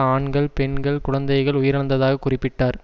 ஆண்கள் பெண்கள் குழந்தைகள் உயிரிழந்ததாக குறிப்பிட்டார்